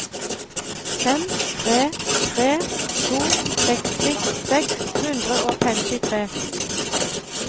fem tre tre to seksti seks hundre og femtitre